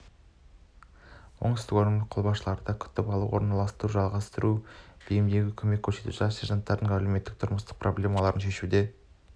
оңтүстік өңірлік қолбасшылығында күтіп алу орналастыру жайғастыру және бейімделуге көмек көрсету жас сержанттардың әлеуметтік-тұрмыстық проблемаларын шешуде